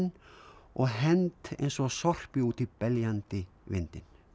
og hent eins og sorpi út í beljandi vindinn